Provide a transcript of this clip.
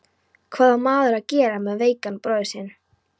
Hvað á maður að gera með veikan bróður sinn?